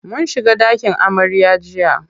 Mun shiga ɗakin amarya jiya.